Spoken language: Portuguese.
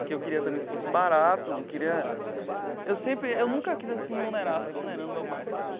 Que eu queria também que fosse barato, não queria... Eu sempre eu nunca quis, assim, onerar, ficar onerando o meu pai, sabe?